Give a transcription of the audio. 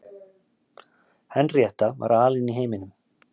Henríetta var alein í heiminum.